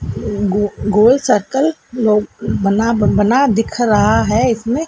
गो गोल सर्कल नो बना बना दिख रहा है इसमें--